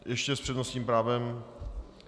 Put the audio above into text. Ještě s přednostním právem.